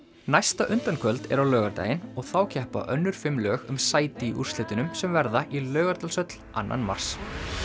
næsta er á laugardaginn og þá keppa önnur fimm lög um sæti í úrslitunum sem verða í Laugardalshöll annan mars